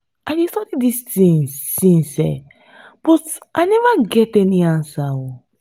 i dey study dis thing since um but i never get answer um